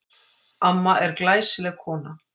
Amma er glæsileg kona.